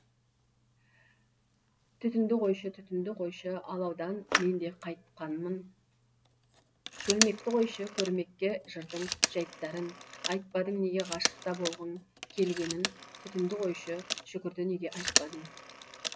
түтінді қойшы түтінді қойшы алаудан мен де қайтқанмын шөлмекті қойшы көрмекке жырдың жәйттарын айтпадың неге ғашық та болғың келгенін түтінді қойшы шүкірді неге айтпадың